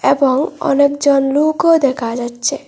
এবং অনেকজন লুকও দেখা যাচ্চে।